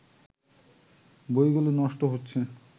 বইগুলো নষ্ট হচ্ছে